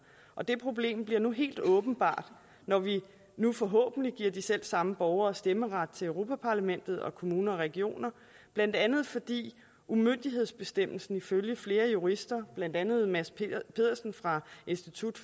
og det problem bliver helt åbenbart når vi nu forhåbentlig giver de selv samme borgere stemmeret til europa parlamentet og kommuner og regioner blandt andet fordi umyndighedsbestemmelsen ifølge flere jurister blandt andet mads pedersen fra institut